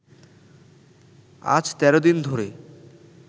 আজ ১৩ দিন ধরে